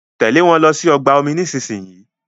Tèlé wón ló sì ọgbà omi nísìsiyìí!